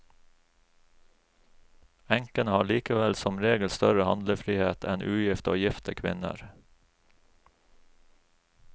Enkene har likevel som regel større handlefrihet enn ugifte og gifte kvinner.